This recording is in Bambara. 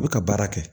U bɛ ka baara kɛ